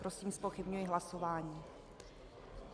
Prosím, zpochybňuji hlasování.